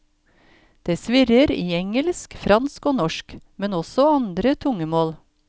Det svirrer i engelsk, fransk og norsk, men også andre tungemål.